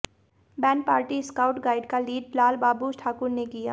band party scout guide का lead Lal Babu Thakur ने किया